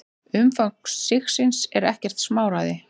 Umfang sigsins er ekkert smáræði.